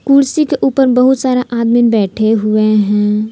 कुर्सी के ऊपर बहुत सारा आदमीन बैठे हुए हैं।